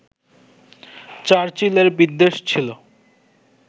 চার্চিলের বিদ্বেষ ছিল